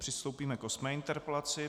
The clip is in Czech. Přistoupíme k osmé interpelaci.